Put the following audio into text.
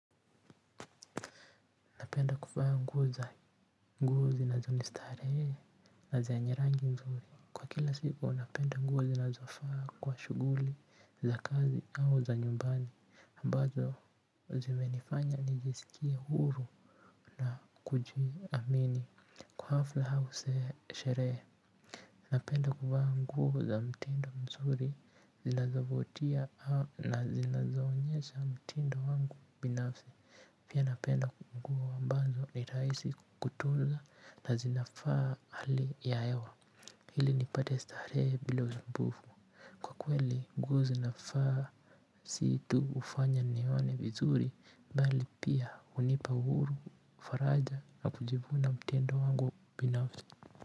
Napenda kuvaa nguo za nguo zinazo nistarehe na zenye rangi nzuri. Kwa kila siku napenda nguo zinazofaa kwa shughuli za kazi au za nyumbani. Ambazo zimenifanya nijisikie huru na kujiamini kwa hafla au sherehe. Napenda kuvaa nguo za mtindo mzuri zinazovutia na zinazo onyesha mtindo wangu binafsi. Pia napenda nguo ambanzo ni rahisi kutunza na zinafaa hali ya hewa. Ili nipate starehe bila usumbufu. Kwa kweli nguo zinafaa si tu kufanya nione vizuri bali pia hunipa uhuru faraja na kujivuna mtindo wangu binafsi.